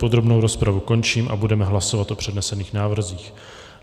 Podrobnou rozpravu končím a budeme hlasovat o přednesených návrzích.